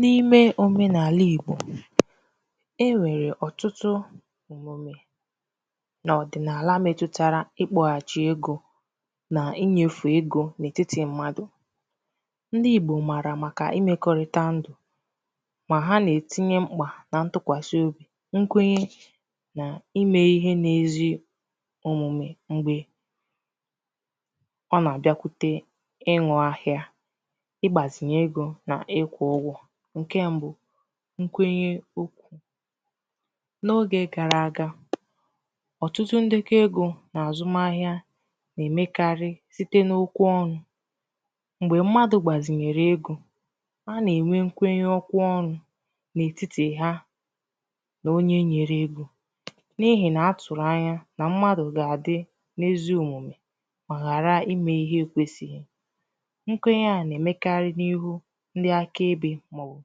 N’ime òmenààlà Igbò e nwèrè ọ̀tụtụ òmume nà ọ̀dị̀nààlà metutara ikpọ̄hàchì egō nà inyēfè egō n’ètitì mmadụ̀ ndi Igbò mààrà màkà imēkọrịta ndụ̀ mà ha nà-ètinye mkpà nà ntụkwàsị obì nkwenye na imē ihe na-ezi omūmē m̀gbè ọ nà-àbịakwute inwà ahịa igbāzinye egō nà ịkwụ̄ ụgwọ̄ ǹkè m̀bụ nkwenye okwū n’ogè gara àga ọ̀tụtụ ndeko egō na àzụm ahịa na-èmekarị n’okwu ọnụ̄ m̀gbè mmadụ̀ gbàzìnyèrè egō a nà-ènwe nkenye okwu ọnụ̄ n’ètitì ha na onye nyere egō n’ihì na atụ̀rụ̀ anya nà mmadụ̀ gà-àdị n’ezi omume mà ghàra imē ihe na-ekwēsighi nkwenye a nà-èmekarị n’ihu ndi aka ebē màọbụ̀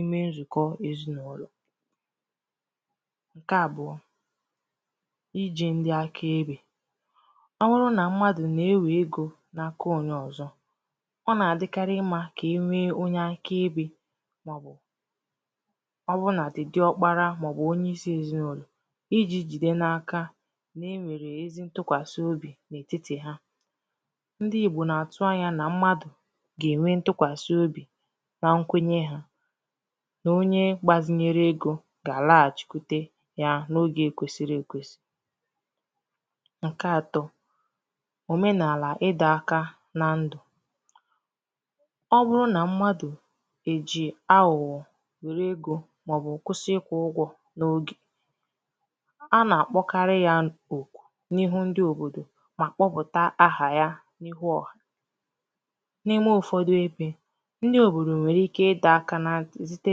ime nzùkọ èzinàụlọ̀ ǹkè a ijī ndi aka ebē ọ bụrụ nà mmadụ̀ na-ewè eḡo n’aka onye ọ̀zọ ọ nà-àdịkarị mmā kà enwee onye aka ebē màọbụ̀ ọ bụnàdị di ọkpara màọbụ̀ onye isī èzinàụlọ̀ ijī jide n’aka na-enwèrè ezi ntụkwàsị obì n’ètitì ha ndi Ìgbò nà-àtụ anyā nà mmadụ̀ gà-ènwe ntụkwàsị obì na nkwenye ha nà onye gbazinyere egō gà-àlahachikwute ha n’ogè kwesiri ekwēsī ǹkè atọ̄ òmenààlà ị dọ̄ aka na ndụ̀ ọ bụrụ na mmadụ̀ è ji agụ̀gọ̀ wère egō màọbụ̀ kwụsị ịkwụ̄ ụgwọ̄ n’ogè a nà-àkpọkarị ya okù n’ihu ndi òbòdò mà kpọpụ̀ta ahà ya n’ihu ọ̀hà n’ime ụ̀fọdụ ebē ndi òbòdò nwèrè ike ị dọ̄ aka na ntị̀ site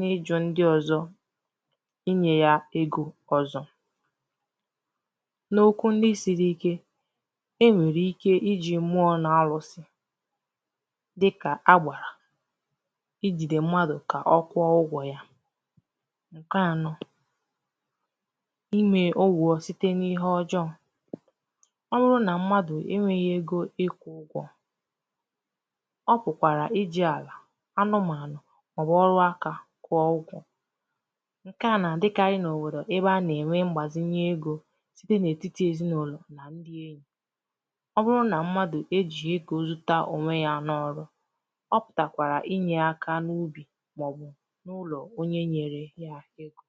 n’ijụ̄ ndi ọzọ̄ n’inyē ya egō ọzọ n’okwu ndi siri ike e nwèrè ike ijī mmụọ̄ nà arụ̄sị̄ dịkà agbàrà ijīdē mmadụ̀ ka ọkwụọ ụgwọ̄ ya ǹkè anọ̄ inwē ụgwọ̄ site n’ihe ọjọọ ọ wụrụ nà m̀madụ̀ enwēghī ego ịkwụ̄ ụgwọ̄ ọ pụ̀kwàrà ijī àlà anụmànụ̀ màọwụ̀ ọrụaka kwụọ ụgwọ̄ ǹkè a nà-àdịkarị n’òbòdò a nà-ènwe mgbàzìnye egō site n’ètitì èzinàụlọ̀ nà ndi ènyi ọ bụrụ na mmadụ̀ ejì egō zuta ònwe ya n’ọrụ ọ pụ̀tàkwàrà inyē aka n’ubì màọbụ̀ n’ụlọ̀ ụlọ̀ onye nyere ya egō